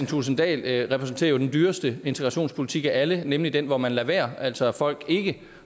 thulesen dahl repræsenterer jo den dyreste integrationspolitik af alle nemlig den hvor man lader være altså hvor folk ikke